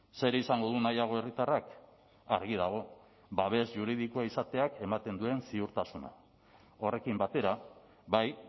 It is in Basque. zer izango du nahiago herritarrak argi dago babes juridikoa izateak ematen duen ziurtasuna horrekin batera bai